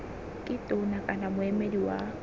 ke tona kana moemedi wa